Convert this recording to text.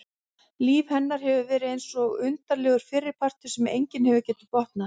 Líf hennar hefur verið eins og undarlegur fyrripartur sem enginn hefur getað botnað.